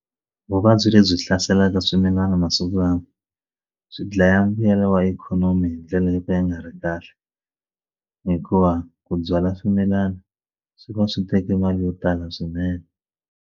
Vuvabyi lebyi hlaselaka swimilana masiku lawa byi dlaya mbuyelo wa ikhonomi hi ndlela yo ka ya nga ri kahle hikuva ku byala swimilana swi va swi teke mali yo tala swinene.